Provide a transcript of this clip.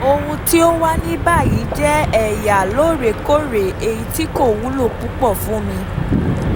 Ohun tí ó wà ní báyìí jẹ́ ẹ̀yà lóòrèkóòrè èyí tí kò wúlò púpọ̀ fún mi.